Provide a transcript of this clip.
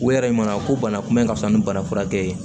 U yɛrɛ mana ko bana kunbɛ ka fisa ni bana furakɛ ye